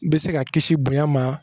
Bɛ se ka kisi bonya ma